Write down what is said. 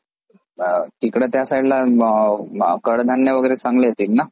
तिकडे त्यासाईडला कडधान्य वगैरे चांगले येतील ना.